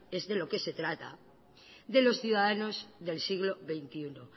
es de lo que se trata de los ciudadanos del siglo veintiuno